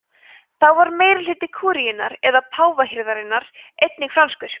þá var meirihluti kúríunnar eða páfahirðarinnar einnig franskur